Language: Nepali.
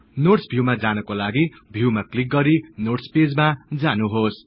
नोट्स भिउमा जानको लागि भिउमा क्लिक गरि नोट्स पेजमा जानुहोस्